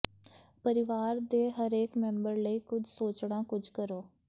ਪਰਿਵਾਰ ਦੇ ਹਰੇਕ ਮੈਂਬਰ ਲਈ ਕੁਝ ਸੋਚਣਾ ਕੁੱਝ ਕਰੋ